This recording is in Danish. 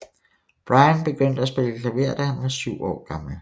Bryan begyndte at spille klaver da han var syv år gammel